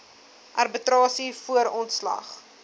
arbitrasie voor ontslag